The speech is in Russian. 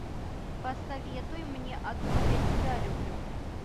посоветуй мне одну я тебя люблю